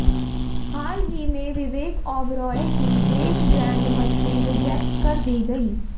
हाल ही में विवेक ओबेरॉय की ग्रेट ग्रैंड मस्ती रिजेक्ट कर दी गई